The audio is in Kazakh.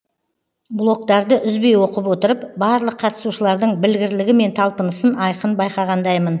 блогтарды үзбей оқып отырып барлық қатысушылардың білгірлігі мен талпынысын айқын байқағандаймын